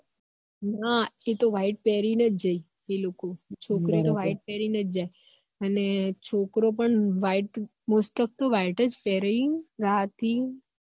હ એ તો white પેરી ને જ જોઈ એ લોકો છોકરી તો white પેરી ને જ જાયે અને છોકરો પણ most off તો white જ પેરી રાતે